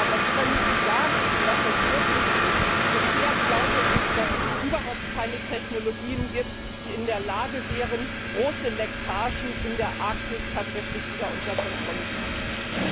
Da können Sie zwar sagen, dass das möglich ist, aber ich glaube, dass es bisher überhaupt keine Technologien gibt, die in der Lage wären, große Leckagen in der Arktis tatsächlich wieder unter Kontrolle zu bringen.